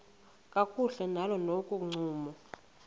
kakuhle nakolo ncumo